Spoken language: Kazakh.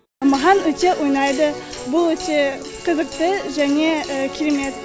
маған өте ұнайды бұл өте қызықты және керемет